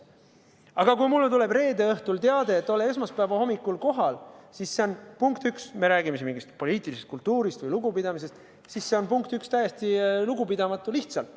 Aga kui mulle tuleb reede õhtul teade, et ole kohal esmaspäeva hommikul, siis see on, punkt üks – me räägime siin mingist poliitilisest kultuurist või lugupidamisest –, täiesti lugupidamatu.